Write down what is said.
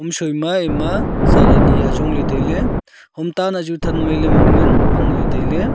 hamsoi ma ema sir ani ajong ley tailey hom ta nahchu than mailey man ngan bangley tailey.